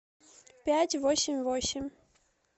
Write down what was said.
пять восемь восемь